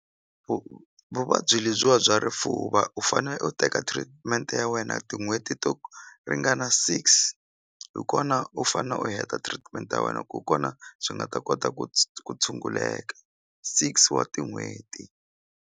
vuvabyi lebyiwa bya rifuva u fane u teka treatment ya wena tin'hweti to ringana six hi kona u fane u heta treatment ya wena ku kona swi nga ta kota ku ku tshunguleka six wa tin'hweti.